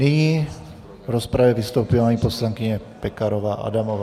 Nyní v rozpravě vystoupí paní poslankyně Pekarová Adamová.